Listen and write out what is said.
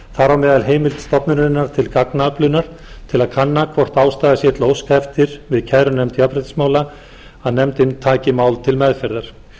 á meðal heimild stofnunarinnar til gagnaöflunar til að kanna hvort ástæða sé til að óska eftir við kærunefnd jafnréttismála að nefndin taki mál til meðferðar